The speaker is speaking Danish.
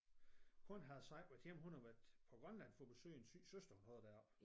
Konen havde så ikke været hjemme hun havde på Grønland for at besøge en syg søster eller noget deroppe